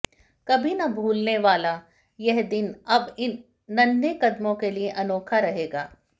कभी न भूलने वाला यह दिन अब इन नन्हे कदमों के लिए अनोखा रहेगा